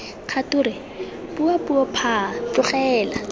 kgature bua puo phaa tlogela